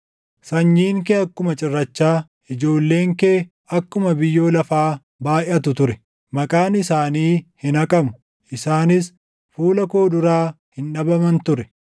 Sanyiin kee akkuma cirrachaa, ijoolleen kee akkuma biyyoo lafaa baayʼatu ture; maqaan isaanii hin haqamu; isaanis fuula koo duraa hin dhabaman ture.”